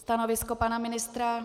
Stanovisko pana ministra?